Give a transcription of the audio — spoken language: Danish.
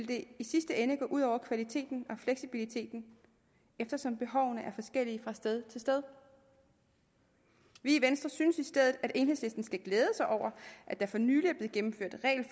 det i sidste ende gå ud over kvaliteten og fleksibiliteten eftersom behovene er forskellige fra sted til sted vi i venstre synes i stedet at enhedslisten skal glæde sig over at der for nylig